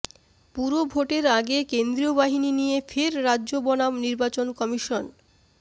পুরভোটের আগে কেন্দ্রীয় বাহিনী নিয়ে ফের রাজ্য বনাম নির্বাচন কমিশন